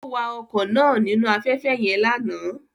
Ó wa ọkọ̀ náà nínú afẹ́fẹ́ yẹn lánàá